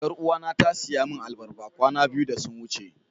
Yaruwa na ta siya min albarba kwana biyu da sun wuce.